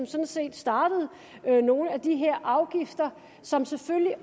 sådan set startede nogle af de her afgifter som selvfølgelig